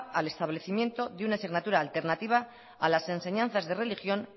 al establecimiento de una asignatura alternativa a las enseñanzas de religión